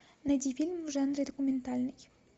найди фильм в жанре документальный